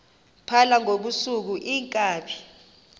phala ngobusuku iinkabi